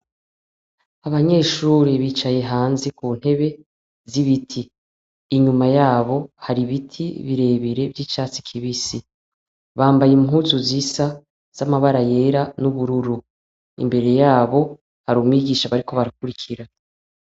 Abanyeshuri bicaye hanze kuntebe z'ibiti , inyuma yabo hari ibiti birebire vy'icatsi kibisi , bambaye impuzu zisa z'amabara yera n'ubururu , imbere yabo hari umwigisha bariko barakurikira .